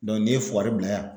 Dɔ n'i ye fugari bila yan